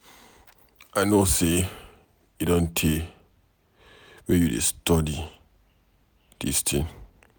I know say e don tey wey you dey study dis thing.